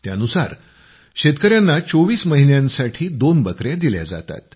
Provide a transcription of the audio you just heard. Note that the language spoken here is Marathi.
त्यानुसार शेतकयांना 24 महिन्यांसाठी दोन बकया दिल्या जातात